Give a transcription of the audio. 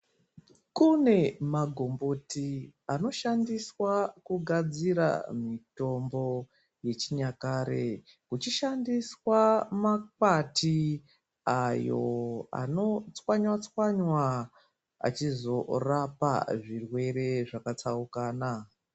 Kune magomboti anoshandiswa kugadzira mitombo yechinyakare. Kuchishandiswa makwati ayo anotswanywa tswanya achizorapa zvirwere zvakatsaukana.